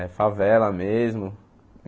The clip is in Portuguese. É, favela mesmo.